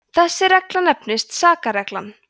þessi regla nefnist sakarreglan